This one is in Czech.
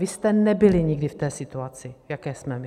Vy jste nebyli nikdy v té situaci, v jaké jsme my.